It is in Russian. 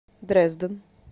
дрезден